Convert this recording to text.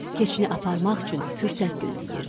keçini aparmaq üçün fürsət gözləyirdi.